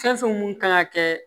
Fɛn fɛn mun kan ka kɛ